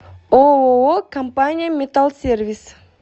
ооо компания металлсервис